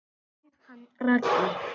En hann Raggi?